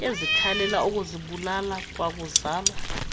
ezikhalela ukuzibulala kwakuzalwa